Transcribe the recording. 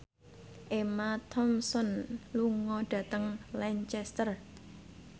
Emma Thompson lunga dhateng Lancaster